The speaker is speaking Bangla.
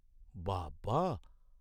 বাবা!